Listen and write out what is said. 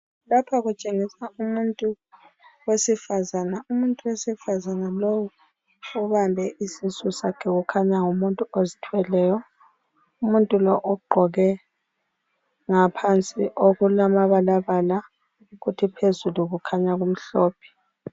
Lapha kutshengisa umuntu wesifazana. Umuntu wesifazana lowu ubambe isisu sakhe kukhanya ngumuntu ozithweleyo. Umuntu lowu ugqoke ngaphansi okulamabalabala kuthi phezulu kukhanya kumhlophe